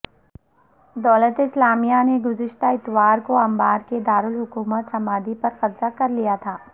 دولت اسلامیہ نے گذشتہ اتوار کو انبار کے دارالحکومت رمادی پر قبضہ کر لیا تھا